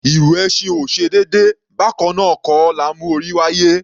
Ìrù ẹṣin ò ṣe déédé, bákannáà kọ́ la mú orí wáyé.